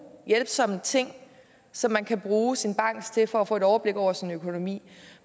hjælpsomme ting som man kan bruge sin bank til for at få et overblik over sin økonomi